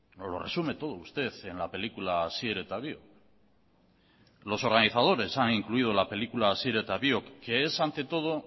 nos lo resume todo usted en la película asier eta biok los organizadores han incluido la película asier eta biok que es ante todo